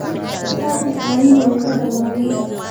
Sacii caanihii waa ka dhamaadeen.